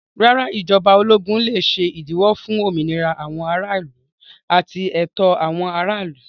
Rárá, ìjọba ológun lè ṣe ìdíwọ́ fún òmìnira àwọn aráàlú àti ẹ̀tọ́ àwọn aráàlú.